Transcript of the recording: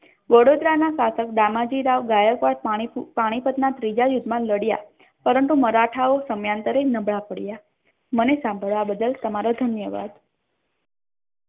વડોદરા ના શાસક દામાજી રાવ ગાયકવાડ પાણીપત ના ત્રીજા યુદ્ધ મા લઢ્યા પરંતુ મરાઠા ઓ સમયાંતરે નબળા પડયા મને સાંભળવા બદ્દલ તમારો ધન્યવાદ.